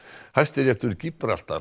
Hæstiréttur